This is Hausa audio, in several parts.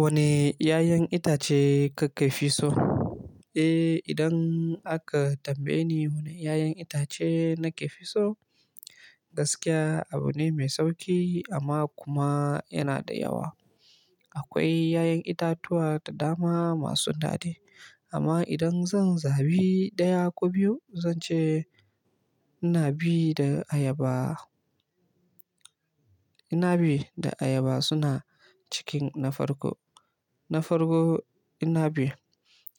Wana 'ya'yan itace kaka fi so? Eh, idan aka tambaye ni wane 'ya'yan itace nake fi so, gaskiya abune mai sauƙi amma kuma yana da yawa. Akwai 'ya'yan itatuwa da dama masu daɗi. Amma idan zan zabi ɗaya ko biyu, zan ce inabi da ayaba. Inabi da ayaba suna cikin na farko. Na farko inabi.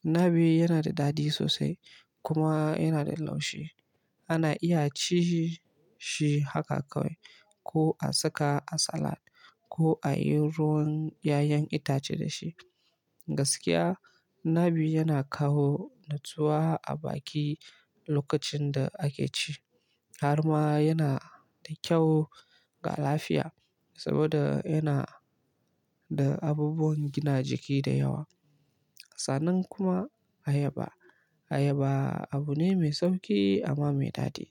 Inabi yana da daɗi sosai kuma yana da laushi. Ana iya ci shi haka kawai ko a saka a salad ko a yi ruwan 'ya'yan itace da shi. Gaskiya, inabi yana kawo natsuwa a baki lokacin da ake ci. Har ma yana da kyau ga lafiya saboda yana da abubuwan gina jiki da yawa. Sannan kuma ayaba. Ayaba abu ne mai sauki amma mai daɗi.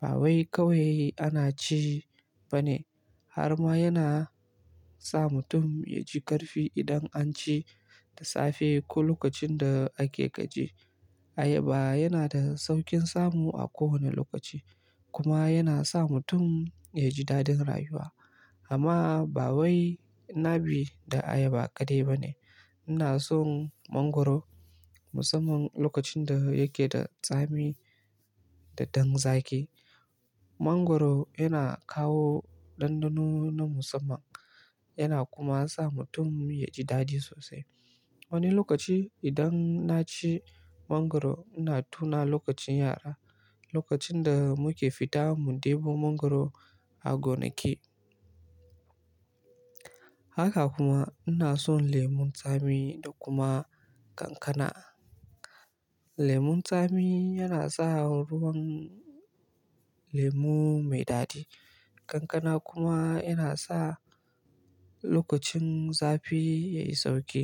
Ba wai kawai ana ci ba ne. Har ma yana sa mutum ya ji ƙarfi idan an ci da safe ko lokacin da ake gaji. Ayaba yana da sauƙin samu a kowane lokaci kuma yana sa mutum ya ji daɗin rayuwa. Amma ba wai inabi da ayaba kaɗai ba ne. Ina son mangwaro musamman lokacin da yake da tsami da ɗan zaƙi. Mangwaro yana kawo ɗanɗano na musamman yana kuma sa mutum ya ji daɗi sosai. Wani lokaci idan na ci mangwaro, ina tuna lokacin yara. Lokacin da muke fita mu ɗebo mangwaro a gonakai. Haka kuma ina son lemon tsami da kuma kankana. Lemon tsami yana sa ruwan lemu mai daɗi. Kankana kuma yana sa lokacin zafi yayi sauƙi.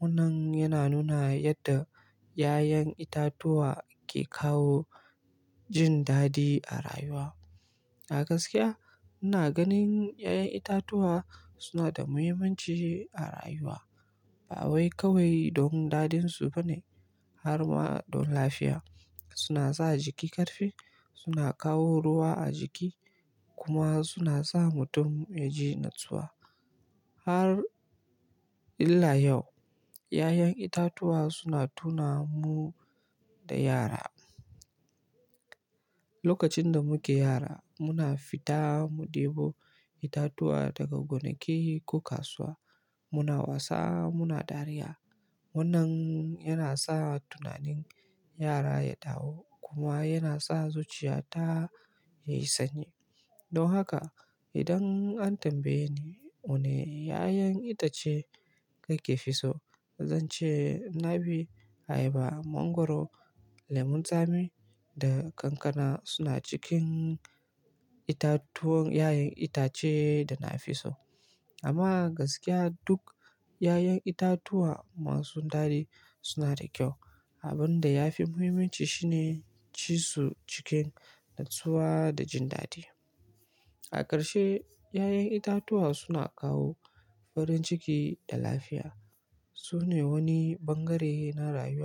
Wannan yana nuna yanda 'ya'yan itatuwa ke kawo jin daɗi a rayuwa. A gaskiya, ina ganin 'ya'yan itatuwa suna da muhimmanci a rayuwa. Ba wai kawai dan daɗinsu bane, har ma dan lafiya. Suna sa jiki ƙarfi, suna kawo ruwa a jiki kuma suna sa mutum ya ji natsuwa. Har ila yau, 'ya'yan itatuwa suna tuna mun da yara. Lokacin da muke yara, muna fita mu ɗebo itatuwa daga gonake ko kasuwa. Muna wasa, muna dariya. Wannan yana sa tunanin yara ya dawo kuma yana sa zuciya ta yi sanyi. Dan haka, idan an tambaye ni wane 'ya'yan itace kake fi so, zan ce inabi, ayaba, mangwaro, lemon tsami da kankana suna cikin itatuwan, 'ya'yan itace da nafi so. Amma gaskiya duk 'ya'yan itatuwa masu daɗi suna da kyau. Abin da yafi muhimmanci shine, ci su cikin natsuwa da jin daɗi. A ƙarshe, 'ya'yan itatuwa suna kawo farin ciki da lafiya. Amma gaskiya duk 'ya'yan itatuwa masu daɗi suna da kyau. Abin da yafi muhimmanci shine,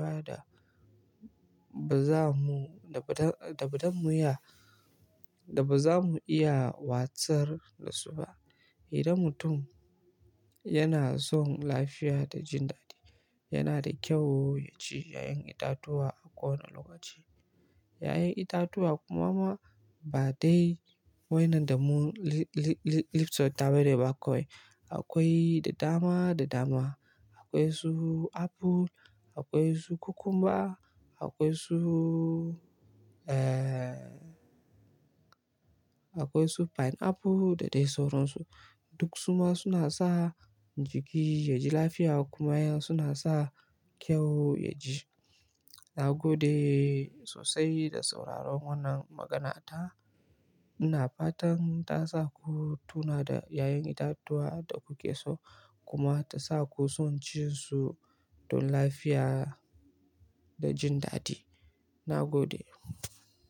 ci su cikin natsuwa da jin daɗi. Idan mutum yana son lafiya da jin daɗi, yana da kyau ya ci 'ya'yan itatuwa a kowane lokaci. 'Ya'yan itatuwa kuma ba dai waɗannan da mu lifsaftas bane ba kawai. Akwai da dama, da dama. Akwai su apple, akwai su cucumber, akwai su, eh, akwai su pineapple da dai sauransu. Duk su ma suna sa jiki ya ji lafiya kuma suna sa kyau ya ji. Na gode sosai da sauraron wannan maganata. Ina fatan ta sa ku tuna da 'ya'yan itatuwa da kuke so kuma ta sa ku son cin su dan lafiya da jin daɗi. Na gode.